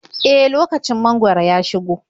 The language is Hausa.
E, lokacin mangwaro ya shigo.